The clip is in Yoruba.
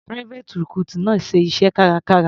Private recruit náà ń ṣiṣẹ́ kárakára.